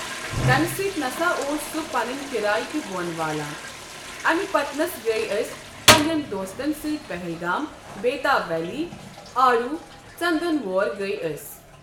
تَمہِ سۭتۍ نَسا اوس سُہ پَنٕنۍ کِرایہِ تہِ بوٚن والان اَمہِ پَتَنَس گٔیے أسۍ پَنٛنٮ۪ن دوستَن سۭتۍ پَہلگام بیتاب ویلی آڑو ژَندَن وور گٔیے أسۍ۔